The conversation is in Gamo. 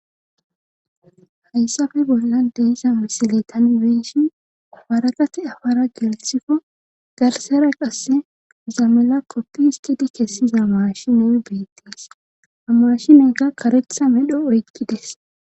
Hayssappe bolla dezama siletan beshin afaraqate afara geltifo garsera qasse zamela koppiiskedi kessi zamashiney beettees hamashineka kareqhtsa medho oykkides.